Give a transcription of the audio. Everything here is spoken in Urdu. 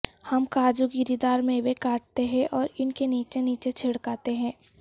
ہم کاجو گری دار میوے کاٹتے ہیں اور ان کے نیچے نیچے چھڑکاتے ہیں